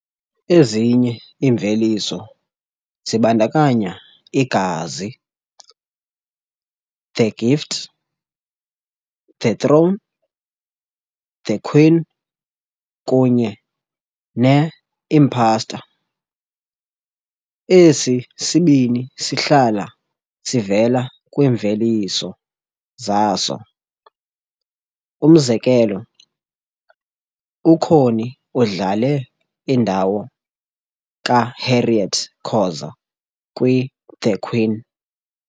Ezinye iimveliso zibandakanya "iGazi", "The Gift", "The throne", "TheQueen" kunye "ne-Imposter". Esi sibini sihlala sivela kwiimveliso zaso, umzekelo, uConnie udlale indawo kaHarriet Khoza kwiThe "Queen".